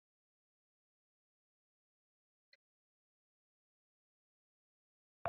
Kai ne shugaban malamai na wannan makaranta?